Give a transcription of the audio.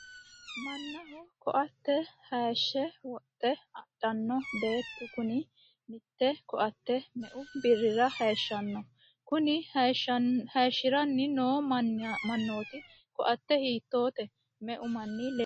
mannaho koatte hayiishshe woxe adhanno beetti kuni mitte koatte meu birrira hayiishshanno? kuni hayishiranni noo manniti koatte hiittoote? meu manni leelanno?